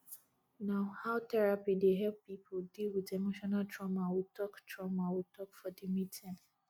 na how therapy dey help pipo deal wit emotional trauma we tok trauma we tok for di meeting